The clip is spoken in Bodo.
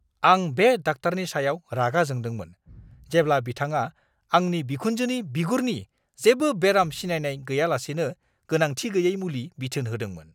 आं बे डाक्टारनि सायाव रागा जोंदोंमोन जेब्ला बिथांआ आंनि बिखुनजोनि बिगुरनि जेबो बेराम सिनायनाय गैयालासेनो गोनांथि गैयै मुलि बिथोन होदोंमोन!